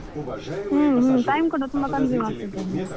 ಹ್ಮ್ ಹ್ಮ್, time ಕೂಡ ತುಂಬಾ ತುಂಬಾ consume ಆಗ್ತಾದೆ ಅಲ.